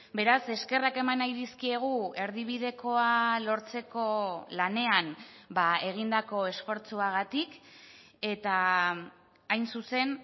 beraz eskerrak eman nahi dizkiegu erdibidekoa lortzeko lanean egindako esfortzuagatik eta hain zuzen